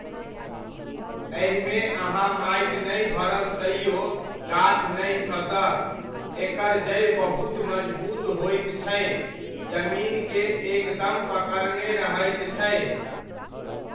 एहिमे अहाँ माटि नहि भरब तैओ गाछ नहि खसत, एकर जड़ि बहुत मजबूत होइत छै, जमीन के एकदम पकड़ने रहैत छै।